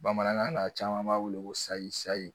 Bamanankan na caman b'a wele ko